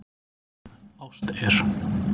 Ást er.